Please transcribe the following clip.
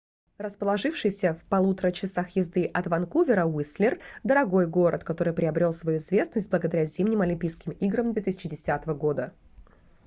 расположившийся в 1,5 часа езды от ванкувера уистлер дорогой город который приобрел свою известность благодаря зимним олимпийским играм 2010 года